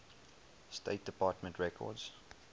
state department records